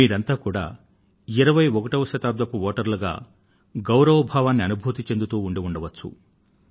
మీరంతా కూడా 21వ శతాబ్దపు వోటర్లుగా గౌరవ భావాన్ని అనుభూతి చెందుతూ ఉండి ఉండవచ్చు